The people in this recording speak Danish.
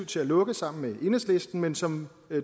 til at lukke sammen med enhedslisten men som